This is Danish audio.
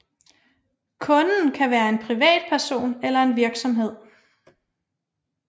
Kunden kan være en privatperson eller en virksomhed